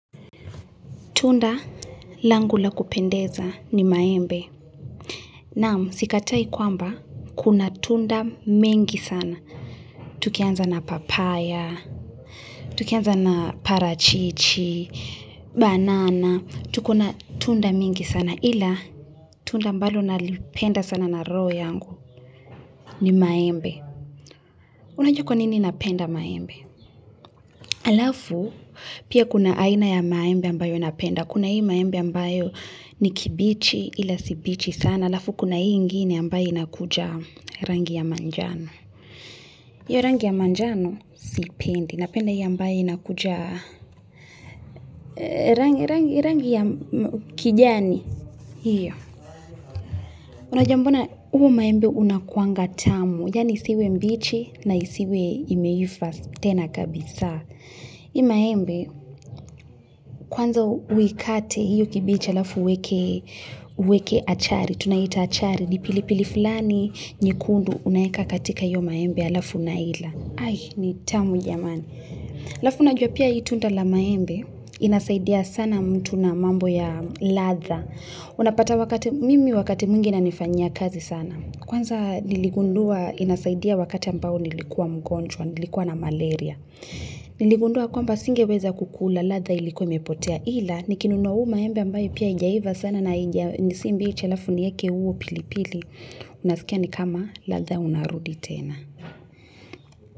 Tunda langu la kupendeza ni maembe. Naam, sikatai kwamba, kuna tunda mengi sana. Tukianza na papaya, tukianza na parachichi, banana, tuko na tunda mingi sana. Ila, tunda ambalo nalipenda sana na roho yangu ni maembe. Unajua kwa nini napenda maembe? Alafu, pia kuna aina ya maembe ambayo napenda. Kuna hii maembe ambayo ni kibichi ila si bichi sana. Alafu kuna hii ingini ambayo inakuja rangi ya manjano. Hiyo rangi ya manjano sipendi. Napenda hii ambayo inakuja rangi ya kijani. Hiyo. Unajua mbona huo maembe unakuanga tamu. Yaani isiwe mbichi na isiwe imeiva tena kabisa. Maembe, kwanza uikate hiyo kibichi alafu uweke achari, tunaita achari. Ni pilipili fulani nyekundu unaweka katika hiyo maembe alafu unaila. Ai, ni tamu jamani. Alafu unajua pia hii tunda la maembe inasaidia sana mtu na mambo ya ladha. Unapata mimi wakati mwingi inanifanyia kazi sana. Kwanza niligundua inasaidia wakati ambao nilikuwa mgonjwa, nilikuwa na malaria. Niligundua kwamba singeweza kukula ladha ilikuwa imepotea ila nikinunua huu maembe ambayo pia haijaiva sana na si mbichi alafu nieke huu pilipili Unasikia ni kama ladha unarudi tena.